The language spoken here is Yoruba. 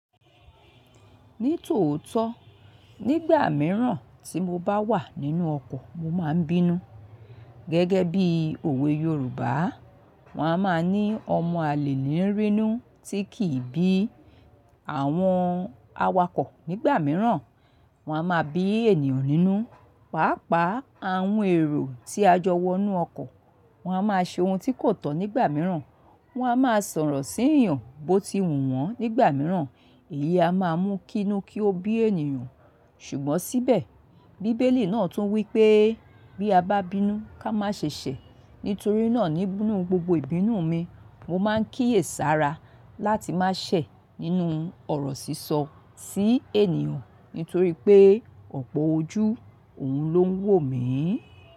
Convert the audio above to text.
Ní tòótọ́, nígbà mìíràn tí mo bá wà nínú ọkọ̀, mo máa ń bínú. Gẹ́gẹ́ bí òwe Yorùbá, wọ́n a máa ní ọmọ àlè lè rínú tí kì í bí. Àwọn awakọ̀ nígbà mìíràn, wọ́n a máa bí ènìyàn nínú. Pàápàá àwọn èrò tí a jọ wọ inú ọkọ̀, wọ́n a máa ṣe ohun tí kò tọ́ nígbà mìíràn. Wọn a máa sọ̀rọ̀ síyàn bó ti wù wọ́n nígbà mìíràn. Èlé a máa mú kí inú kí ó bí ènìyàn. Ṣùgbọ́n síbẹ̀, bíbélì náà tún wí pé bí a bá bínú ká má ṣe ṣẹ̀. Nítorí náà nínú gbogbo ìbínú mi, mo máa ń kíyèsára láti má ṣẹ̀ nínú ọ̀rọ̀ sísọ sí ènìyàn. Nítorí pé ọ̀pọ̀ ojú òun ló ń wò mi.